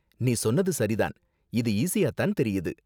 நீ சொன்னது சரி தான்! இது ஈஸியா தான் தெரியுது.